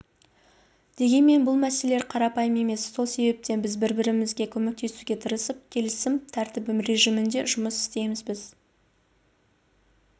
дегенмен бұл мәселелер қарапайым емес сол себептен бір-бірімізге көмектесуге тырысып келісім тәртібі режимінде жұмыс істейміз біз